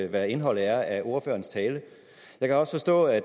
hvad indholdet er af ordførerens tale jeg kan også forstå at